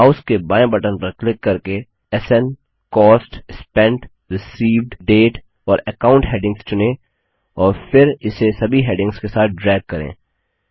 mouse के बायें button पर क्लिक करके स्न कॉस्ट स्पेंट रिसीव्ड डेट और अकाउंट हैडिंग्स चुनें और फिर इसे सभी हैडिंग्स के साथ ड्रैग करें